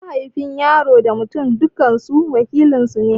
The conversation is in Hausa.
Mahaifi, Yaro da Mutum dukansu wakilin suna ne.